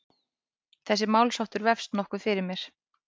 Þessi málsháttur vefst nokkuð fyrir mér.